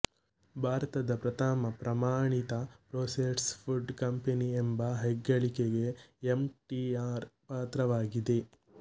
ಭಾರತದ ಪ್ರಥಮ ಪ್ರಮಾಣಿತ ಪ್ರೋಸೆಸ್ಡ್ ಫುಡ್ ಕಂಪೆನಿ ಎಂಬ ಹೆಗ್ಗಳಿಕೆಗೆ ಎಮ್ ಟಿ ಆರ್ ಪಾತ್ರವಾಗಿದೆ